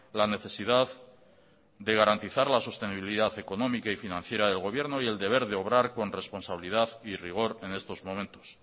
la necesidad de garantizar la sostenibilidad económica y financiera del gobierno y el deber de obrar con responsabilidad y rigor en estos momentos